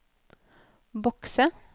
bokse